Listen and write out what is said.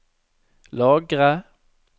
lagre